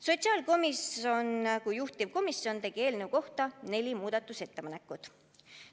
Sotsiaalkomisjon kui juhtivkoamisjon tegi eelnõu kohta neli muudatusettepanekut.